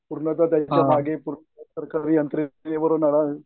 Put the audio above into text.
मागे